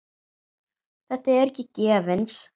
Þetta er ekki gefins.